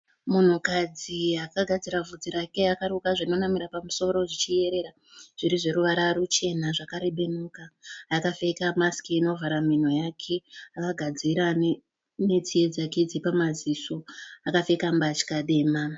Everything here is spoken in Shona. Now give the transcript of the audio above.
Munhukadzi akagadzirwa vhudzi rake akaruka zvinonamira pamusoro zvichiyerera. Zvirizveruvara ruchena zvakarebenuka. Akapfeka masiki inovhara mhino yake akagadzirwa netsiye dzake dzepamaziso. Akapfeka mbatya dema.